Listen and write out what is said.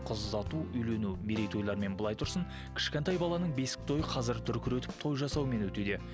қыз ұзату үйлену мерейтойлармен былай тұрсын кішкентай баланың бесік тойы қазір дүркіретіп той жасаумен өтуде